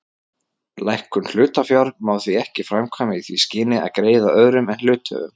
Lækkun hlutafjár má því ekki framkvæma í því skyni að greiða öðrum en hluthöfum.